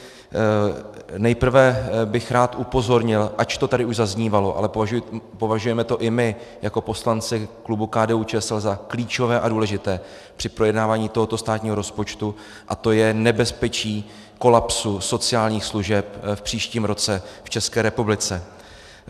Nejprve bych rád upozornil, ač to tady už zaznívalo, ale považujeme to i my jako poslanci klubu KDU-ČSL za klíčové a důležité při projednávání tohoto státního rozpočtu, a to je nebezpečí kolapsu sociálních služeb v příštím roce v České republice.